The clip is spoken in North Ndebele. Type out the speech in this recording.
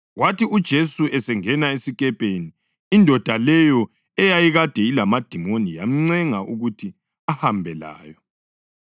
Kwathi uJesu esengena esikepeni indoda leyo eyayikade ilamadimoni yamncenga ukuthi ahambe layo.